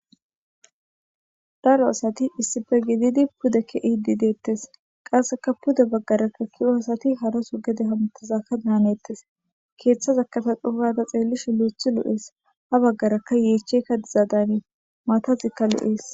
Daro asati issippe gididi pude ke'ede deetes. Qaseka pude bagaraka ke'iya asati haraso gede hametizaka danetes.keeththazaka ta xohugada xelishin loo'iyti loo'es. Habagara yecheka diza danes. Matazika loo'es.